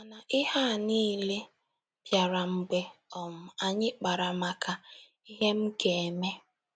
Mana ihe a niile bịara mgbe um anyị kpara maka “ Ihe M Ga - eme! ””